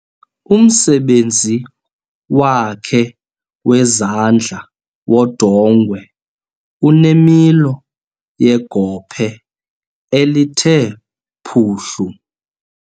Umsebenzi wakhe wezandla wodongwe unemilo yegophe elithe phuhlu.